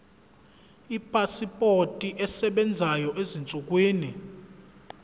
ipasipoti esebenzayo ezinsukwini